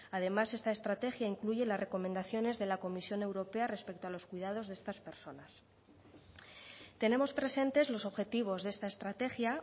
además esta estrategia incluye las recomendaciones de la comisión europea respecto a los cuidados de estas personas tenemos presentes los objetivos de esta estrategia